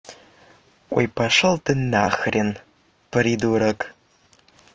ой пошёл ты на хрен придурок